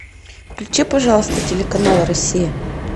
включи пожалуйста телеканал россия